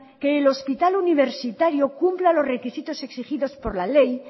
que el hospital universitario cumpla los requisitos exigidos por la ley